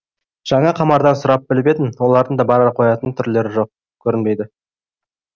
жаңа қамардан сұрап біліп едім олардың да бара қоятын түрлері жоқ көрінбейді